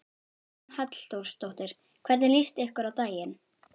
Hugrún Halldórsdóttir: Hvernig líst ykkur á daginn?